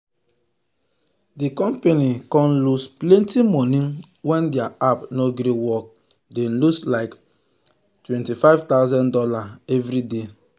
the company con lose plenty money when their app no gree work dem lose like two hundred and fifty thousand dollars every day.